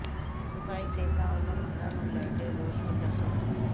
ਸਫਾਈ ਸੇਵਕਾਂ ਵੱਲੋਂ ਮੰਗਾਂ ਨੂੰ ਲੈ ਕੇ ਰੋਸ ਪ੍ਰਦਰਸ਼ਨ